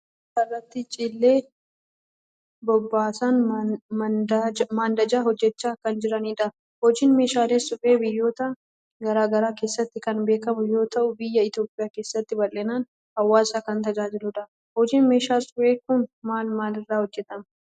Dubartoonni lama suphee irraa meeshaa irratti cilee bobeessan maandajaa hojjechaa kan jiranidha. Hojiin meeshaalee suphee biyyoota garagaraa keessatti kan beekkamu yoo ta'u biyya Itoophiyaa keessatti bal'inaan hawaasa kan tajaajiludha. Hojiin meeshaa suphee kun maal maal irraa hojjetama?